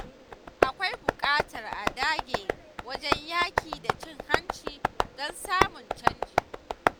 Akwai buƙatar a dage wajen yaƙi da cin hanci don samun canji.